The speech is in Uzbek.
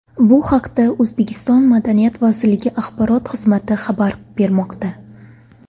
Bu haqda O‘zbekiston Madaniyat vazirligi axborot xizmati xabar bermoqda .